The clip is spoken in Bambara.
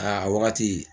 Aa wagati